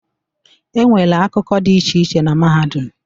E nwere akụkụ dị iche iche na Mahadum